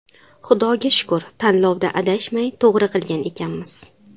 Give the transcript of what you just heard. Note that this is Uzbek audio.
Xudoga shukr tanlovda adashmay, to‘g‘ri qilgan ekanmiz.